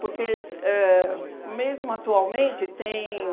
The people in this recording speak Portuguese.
Porque, se éh mesmo atualmente, tem...